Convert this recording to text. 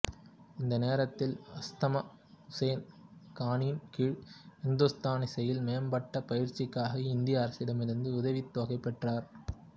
இந்த நேரத்தில் அஸ்மத் உசேன் கானின் கீழ் இந்துஸ்தானி இசையில் மேம்பட்ட பயிற்சிக்காக இந்திய அரசிடமிருந்து உதவித்தொகை பெற்றார்